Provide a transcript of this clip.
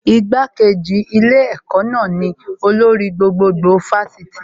Igbá-kejì adarí ilé ẹ̀kọ́ náà ni olórí gbogbogbò Fásitì